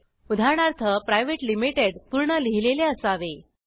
उदाहरणार्थ private limited पूर्ण लिहिलेले असावे